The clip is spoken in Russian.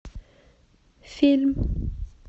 фильм